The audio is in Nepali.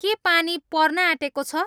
के पानी पर्न आँटेको छ